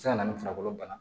Se ka na ni farikolo bana